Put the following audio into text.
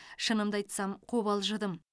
шынымды айтсам қобалжыдым